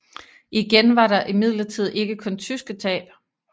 Igen var der imidlertid ikke kun tyske tab